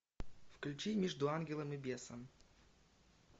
включи между ангелом и бесом